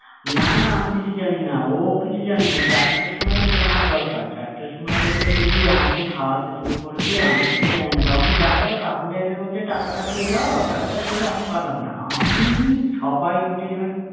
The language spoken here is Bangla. না না আমি কিছু জানি না ও কিছু জানি না চারটের সময় তোকে আমার দরকার চারটের সময় থেকে তুই আমাকে খাওয়াতে শুরু করবি আমি কিচ্ছু জানি না তখন তুই দেখা গেলো রাহুলদা এসে বলছে টাকাটা দিয়ে দাও, টাকাটা দিয়ে দাও আমি পারলাম না আমি সবাই মিলে আমি টাকাটা মিটিয়ে দেবো আমি